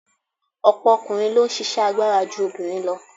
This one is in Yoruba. Ọ̀pọ̀ ọkùnrin ló ń ṣisẹ́ agbára ju obìnrin lọ.